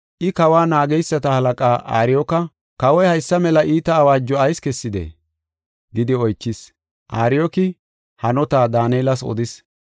I kawa naageysata halaqaa Ariyooka, “Kawoy haysa mela iita awaajo ayis kessidee?” gidi oychis. Ariyooki hanota Daanelas odis.